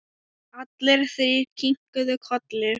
Allir þrír kinkuðu kolli.